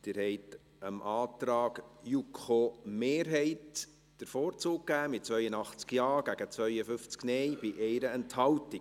Sie haben dem Antrag der JuKo-Mehrheit den Vorzug geben, mit 82 Ja- gegen 52 NeinStimmen bei 1 Enthaltung.